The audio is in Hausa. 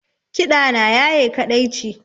Kiɗa na ya ye kaɗaici